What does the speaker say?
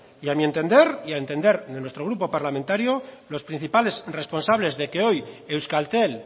y a mi entender y al entender de nuestro grupo parlamentario los principales responsables de que hoy euskaltel